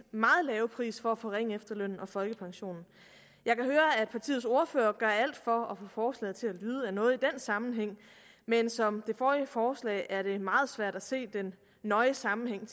meget lave pris for at forringe efterlønnen og folkepensionen jeg kan høre at partiets ordfører gør alt for at forslaget til at lyde af noget i den sammenhæng men som ved det forrige forslag er det meget svært at se den nøje sammenhæng